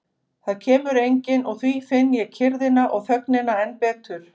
Það kemur enginn og því finn ég kyrrðina og þögnina enn betur.